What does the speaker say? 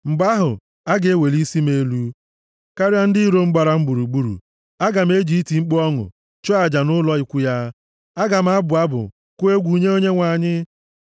Mgbe ahụ, a ga-eweli isi m elu karịa ndị iro m gbara m gburugburu; aga m eji iti mkpu ọṅụ, chụọ aja nʼụlọ ikwu ya; aga m abụ abụ, kụọ egwu nye Onyenwe anyị.